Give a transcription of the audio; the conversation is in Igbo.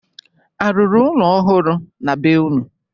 A rụrụ ụlọ ohụrụ na be unu?